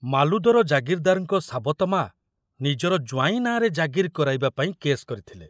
ମାଲୁଦର ଜାଗିରଦାରଙ୍କ ସାବତ ମା ନିଜର ଜ୍ବାଇଁ ନାଁରେ ଜାଗିର କରାଇବା ପାଇଁ କେସ୍ କରିଥିଲେ।